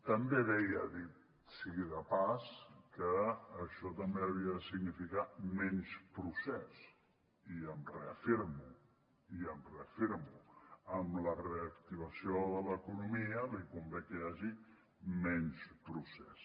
també deia ha dit sigui de pas que això també havia de significar menys procés i m’hi reafirmo i m’hi reafirmo amb la reactivació de l’economia li convé que hi hagi menys procés